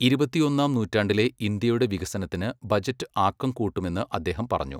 ഇരുപത്തിയൊന്നാം നൂറ്റാണ്ടിലെ ഇന്ത്യയുടെ വികസനത്തിന് ബജറ്റ് ആക്കം കൂട്ടുമെന്ന് അദ്ദേഹം പറഞ്ഞു.